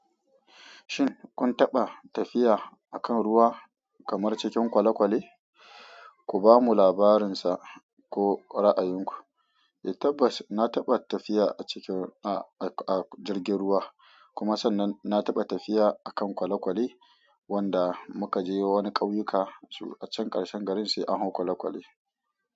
Shin kun taɓa tafiya a kan ruwa kamar cikin kwale kwale? Ku bamu labarinsa ko ra'ayinku. Eh tabbas na taɓa tafiya a cikin, a, a jirgin ruwa kuma sannan na taɓa tafiya a kan kwale kwale wanda muka je wani ƙauyuka a can ƙarshen garin se an hau kwale kwale.